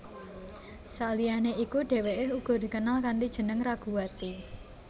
Saliyane iku dheweke uga dikenal kanthi jeneng Raguwati